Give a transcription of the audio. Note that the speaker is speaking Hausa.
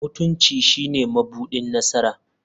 Mutunci shine mabuɗin nasara.